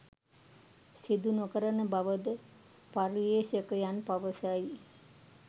සිදු නොකරන බව ද පර්යේෂකයන් පවසයි.